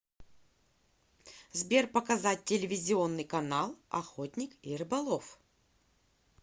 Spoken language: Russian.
сбер показать телевизионный канал охотник и рыболов